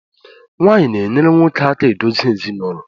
Nwaanyị na-enyere nwoke aka adozi ezinụlọ